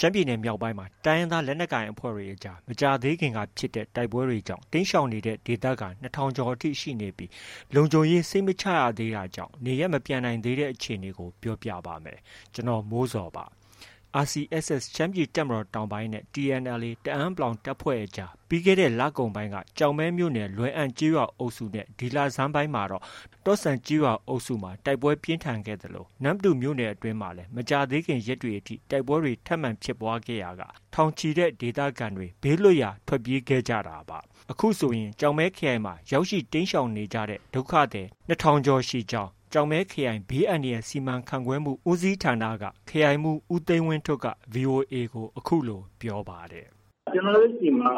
ရှမ်းပြည်နယ်မြောက်ပိုင်းမှာ တိုင်းရင်းသားလက်နက်ကိုင်အဖွဲ့တွေကြား မကြာသေးခင်က ဖြစ်တဲ့ တိုက်ပွဲတွေကြောင့် တိမ်းရှောင်နေတဲ့ဒေသခံ ၂,၀၀၀ ကျော်အထိ ရှိနေပြီး၊ လုံခြုံရေးစိတ်မချရသေးတာကြောင့် နေရပ်မပြန်နိုင်သေးတဲ့အကြောင်း ပြောပြပါမယ်။ ဗွီအိုအေမြန်မာပိုင်းသတင်းထောက် ကိုမိုးဇော်က သတင်းပေးပို့ထားပါတယ်။ RCSS ရှမ်းပြည်တပ်မတော်တောင်ပိုင်းနဲ့ TNLA တအန်း(ပလောင်) တပ်ဖွဲ့အကြား ပြီးခဲ့တဲ့လကုန်ပိုင်းက ကျောက်မဲမြို့နယ် လွယ်အံကျေးရွာအုပ်စုနဲ့ ဒီလဆန်းပိုင်းမှာ တော့ဆန်ကျေးရွာအုပ်စုတွေမှာ တိုက်ပွဲပြင်းထန်ခဲ့သလို နမ္မတူမြို့နယ်အတွင်းမှာလည်း မကြာသေးခင်ရက်တွေအထိ တိုက်ပွဲတွေ ထပ်မံဖြစ်ပွားခဲ့ရာက ထောင်ချီတဲ့ ဒေသခံတွေ ဘေးလွတ်ရာထွက်ပြေးခဲ့ကြတာပါ။ အခုဆိုရင် ကျောက်မဲခရိုင်မှာ ရောက်ရှိ တိမ်းရှောင်နေကြတဲ့ ဒုက္ခသည် ၂,၀၀၀ ကျော် ရှိနေကြောင်း ကျောက်မဲခရိုင် ဘေးအန္တရာယ်စီမံခန့်ခွဲမှုဦးစီးဌာန ခရိုင်ဦးစီးမှုး ဦးသိန်းဝင်းထွဋ်က VOA ကို အခုလို ပြောပါတယ်။ “ကျနော်တို့ဆီမှာ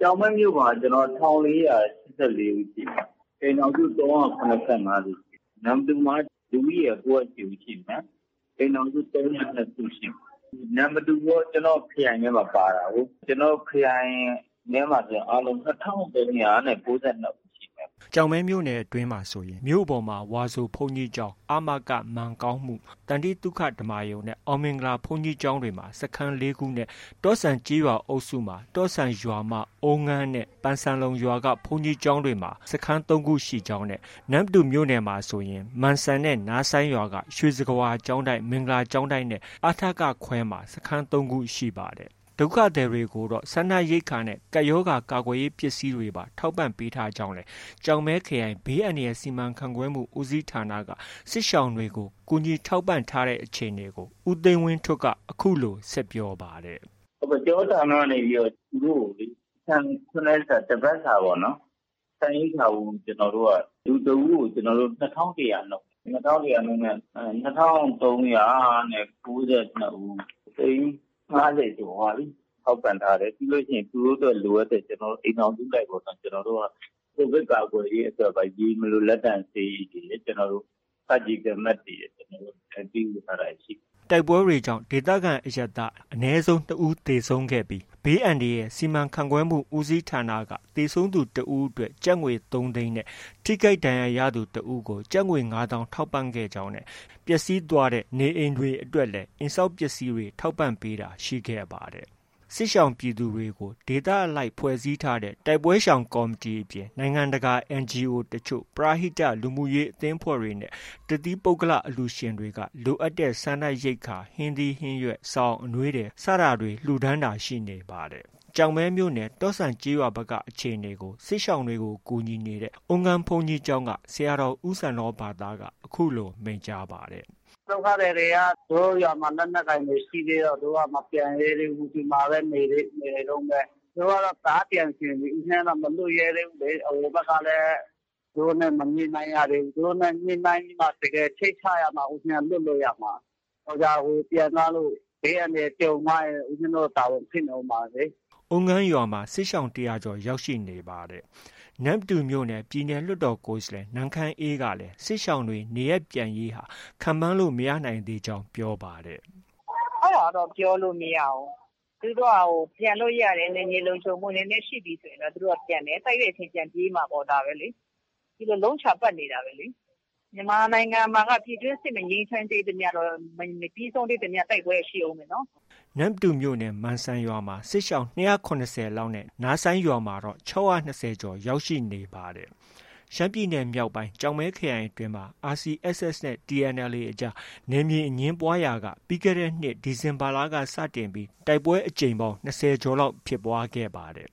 ကျောက်မဲမြို့ပေါ်မှာ ၁,၄၈၄ ဦးရှိမယ်။ အိမ်ထောင်စု ၃၇၅ စု။ နမ္မတူမှာက လူဦးရေ ၉၀၈ ဦးရှိမယ်။ အိမ်ထောင်စု ၃၀၂ စုရှိမယ်။ နမ္မတူကော ကျနော့် ခရိုင်ထဲမှာ ပါတာကို။ ကျနော့ ခရိုင်ထဲမှာဆိုရင် အားလုံး ၂,၃၉၂ ဦးရှိမယ်။” ကျောက်မဲမြို့နယ်အတွင်းမှာဆိုရင် မြို့ပေါ်မှာ ဝါဆိုဘုန်းကြီးကျောင်း၊ အမက မန်ကောင်းမှု၊ သန္တိသုခဓမ္မာရုံနဲ့ အောင်မင်္ဂလာဘုန်းကြီးကျောင်းတွေမှာ စခန်း ၄ခုနဲ့ တော့ဆန်ကျေးရွာအုပ်စုမှာ တော့ဆန်ရွာမ၊ အုမ်းငန်းနဲ့ ပန်စံလုံရွာက ဘုန်းကြီးကျောင်းတွေမှာ စခန်း ၃ ခုရှိကြောင်းနဲ့ နမ္မတူမြို့နယ်မှာဆိုရင် မန်စံနဲ့ နားဆိုင်းရွာက ရွှေစကားဝါကျောင်းတိုက်၊ မင်္ဂလာကျောင်းတိုက်နဲ့ အထက (ခွဲ)မှာ စခန်း ၃ ခု ရှိပါတယ်။ ဒုက္ခသည်တွေကိုတော့ စားနပ်ရိက္ခာနဲ့ ကပ်ရောဂါကာကွယ်ရေး ပစ္စည်းတွေပါ ထောက်ပံ့ပေးထားကြောင်းလည်း ကျောက်မဲခရိုင် ဘေးအန္တရာယ်စီမံခန့်ခွဲမှုဦးစီးဌာနက စစ်ရှောင်တွေကို ကူညီထောက်ပံ့ထားတဲ့အခြေအနေကို ဦးသိန်းဝင်းထွဋ်က အခုလို ဆက်ပြောပါတယ်။ “ကျနော်တို့ဌာနကနေပြီးတော့ သူတို့ကို ဆန် ၇ ရက်စာ၊ တစ်ပတ်စာပေါ့ ဆန်ရိက္ခာဖိုး လူတစ်ဦးကို ၂,၁၀၀ နှုန်းနဲ့ ၂,၃၉၂ ဦး.. သိန်း ၅၀ ကျော်သွားပြီ ထောက်ပံ့ထားတယ်။ ပြီးရင် သူတို့အတွက် လိုအပ်တဲ့ အိမ်ထောင်စုလိုက်ပေါ့နော် ကျနော်တို့က ကိုဗစ်ကာကွယ်ရေးအတွက် ရေမလို လက်သန့်ဆေးရည်ရယ်၊ Surgical Mask တွေရယ် ပေးဝေထားတာရှိတယ်။” တိုက်ပွဲတွေကြောင့် ဒေသခံအရပ်သား အနည်းဆုံး ၂ ဦး သေဆုံးခဲ့ပြီး ဘေးအန္တရာယ်စီမံခန့်ခွဲမှုဦးစီးဌာနက သေဆုံးသူ တစ်ဦးအတွက် ကျပ်ငွေ ၃၀၀,၀၀၀ နဲ့ ထိခိုက်ဒဏ်ရာရသူတစ်ဦးကို ကျပ်ငွေ ၅၀,၀၀၀ ထောက်ပံံ့ခဲ့ကြောင်းနဲ့ ပျက်ဆီးသွားတဲ့ နေအိမ်တွေအတွက်လည်း အိမ်ဆောက်ပစ္စည်းတွေ ထောက်ပံ့ပေးတာ ရှိခဲ့ပါတယ်။ စစ်ရှောင်ပြည်သူတွေကို ဒေသအလိုက်ဖွဲ့စည်းထားတဲ့ တိုက်ပွဲရှောင်ကော်မတီအပြင် နိုင်ငံတကာ NGO တချို့၊ ပရဟိတ လူမှုရေးအသင်းအဖွဲ့တွေနဲ့ တသီးပုဂ္ဂလ အလှုရှင်တွေက လိုအပ်တဲ့ စားနပ်ရိက္ခာ၊ ဟင်းသီးဟင်းရွက်၊ စောင်၊အနွေးထည် စတာတွေ လှုဒါန်းတာတွေ ရှိနေပါတယ်။ ကျောက်မဲမြို့နယ် တော့ဆန်ကျေးရွာဘက်က အခြေအနေကို စစ်ရှောင်တွေကို ကူညီနေတဲ့ အုမ်းငန်းဘုန်းကြီးကျောင်းက ဆရာတော် ဦးစန္ဒောဘာသက အခုလို မိန့်ကြားပါတယ်။ “ဒုက္ခသည်တွေက သူတို့ရွာမှာ လက်နက်ကိုင်တွေရှိတော့ မပြန်ရဲသေးဘူး။ ဒီမှာပဲ နေတုန်းပဲ။ သူတို့ကတော့ တအားပြန်ချင်ပြီ။ ဦးဇင်းကတော့ မလွှတ်ရဲသေးဘူးလေ။ ဟိုဘက်ကလည်း သူတို့နဲ့ မညှိနှိုင်းရသေးဘူး။ သူတို့နဲ့ ညှိနှိုင်းပြီးမှ တကယ်စိတ်ချရမှာ ဦးဇင်းက လွှတ်လို့ ရမှာ။ တော်ကြာ ပြန်သွားလို့ ဘေးအန္တရာယ်ဖြစ်ရင် ဦးဇင်းတို့ တာဝန်ဖြစ်နေမှာလေ။” အုမ်းငန်းရွာမှာ စစ်ရှောင် ၁၀၀ကျော်လောက် ရောက်ရှိနေပါတယ်။ နမ္မတူမြို့နယ် ပြည်သူ့လွှတ်တော်ကိုယ်စားလှယ် နန်းခမ်းအေးကလည်း စစ်ရှောင်တွေ နေရပ်ပြန်ရေးဟာ ခန့်မှန်းလို့ မရနိုင်သေးကြောင်း ပြောပါတယ်။ “အဲဒါကတော့ ပြောလို့ မရဘူး။ သူတို့က ပြန်လို့ ရတယ် နယ်မြေလုံခြုံမှုနည်းနည်း ရှိပြီဆိုတာနဲ့ သူတို့ ပြန်တယ်။ တိုက်တဲ့အချိန် ပြန်ပြေးမှာပေါ့။ ဒါပဲလေ။ ဒီလို လုံးချာပတ်နေတာပဲလေ။ မြန်မာနိုင်ငံမှာက ပြည်တွင်းစစ် မငြိမ်းချမ်းသေးသမျှတော့ မပြီးဆုံးသေးသမျှ တိုက်ပွဲက ရှိအုံးမယ်နော်။” နမ္မတူမြို့နယ် မန်စံရွာမှာ စစ်ရှောင် ၂၇၀ လောက်နဲ့ နားဆိုင်းရွာမှာတော့ ၆၂၀ ကျော်ရှိနေပါတယ်။ ရှမ်းပြည်နယ်မြောက်ပိုင်း ကျောက်မဲခရိုင်အတွင်းမှာ RCSS နဲ့ TNLA အကြား နယ်မြေအငြင်းပွားရာက ပြီးခဲ့တဲ့နှစ် ဒီဇင်ဘာလဆန်းက စတင်ပြီး တိုက်ပွဲအကြိမ်ပေါင်း ၂၀ လောက် ဖြစ်ပွားခဲ့ပါတယ်။